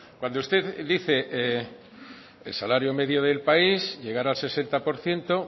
cuando usted dice el salario medio del país llegara al sesenta por ciento